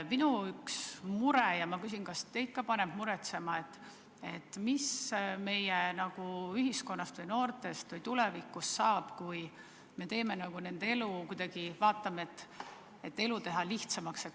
Minu üks mure on ja ma küsin, kas teid ka paneb muretsema, mis meie ühiskonnast või noortest või tulevikust saab, kui me teeme kõik, et laste elu kuidagi lihtsamaks muuta.